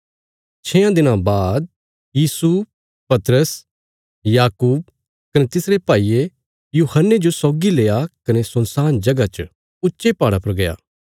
छेआं दिनां बाद यीशु पतरस याकूब कने तिसरे भाईये यूहन्ने जो सौगी लेआ कने सुनसान जगह च ऊच्चे पहाड़ा पर गया